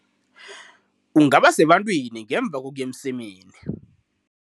Ungaba sebantwini ngemva kokuya emsemeni.